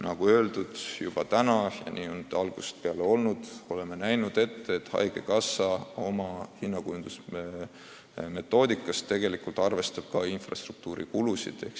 Nagu öeldud, juba algusest peale oleme ette näinud, et haigekassa arvestab oma hinnakujundusmetoodika puhul ka infrastruktuuri kulusid.